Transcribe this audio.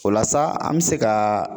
O la sa , an bɛ se ka